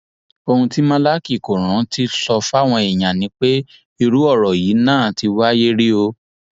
ohun tí málákì kò rántí sọ fáwọn èèyàn ni pé irú ọrọ yìí náà ti wáyé rí o